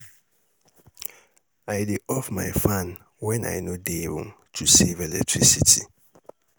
I dey off my fan when I no dey room to save electricity.